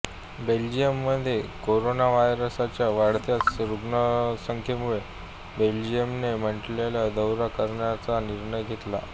बेल्जियममध्ये कोरोनाव्हायरसच्या वाढत्या रुग्णसंख्येमुळे बेल्जियमने माल्टाचा दौरा करण्याचा निर्णय घेतला